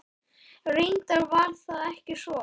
Reyndar var það ekki svo.